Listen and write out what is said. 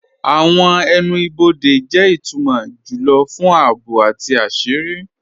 Awọn ẹnu-bọdẹ jẹ itumọ júlọ̀ fún ààbò àti àṣírí.